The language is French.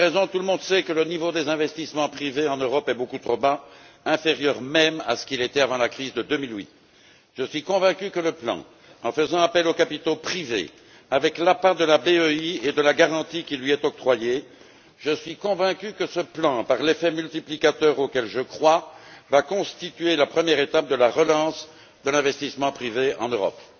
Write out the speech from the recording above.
La première raison, c'est que tout le monde sait que le niveau des investissements privés en Europe est beaucoup trop bas, inférieur même à ce qu'il était avant la crise de 2008. Je suis convaincu que le plan, en faisant appel aux capitaux privés, avec la part de la Banque européenne d'investissement et la garantie qui lui est octroyée, par l'effet multiplicateur auquel je crois, va constituer la première étape de la relance de l'investissement privé en Europe.